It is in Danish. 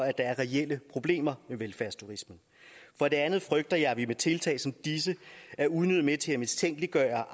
at der er reelle problemer med velfærdsturisme for det andet frygter jeg at vi med tiltag som disse er unødigt med til at mistænkeliggøre